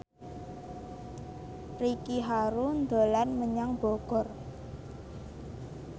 Ricky Harun dolan menyang Bogor